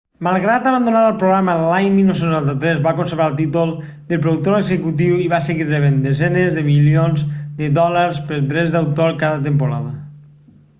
malgrat abandonar el programa l'any 1993 va conservar el títol de productor executiu i va seguir rebent desenes de milions de dòlars per drets d'autor cada temporada